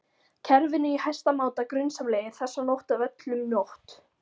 kerfinu í hæsta máta grunsamlegir, þessa nótt af öllum nótt